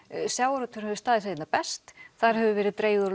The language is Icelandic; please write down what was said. sjávarútvegurinn hefur staðið sig einna best þar hefur dregið úr